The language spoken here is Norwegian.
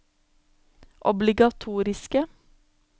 obligatoriske